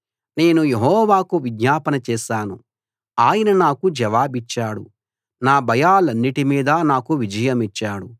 నేను యెహోవాకు విజ్ఞాపన చేశాను ఆయన నాకు జవాబిచ్చాడు నా భయాలన్నిటి మీదా నాకు విజయమిచ్చాడు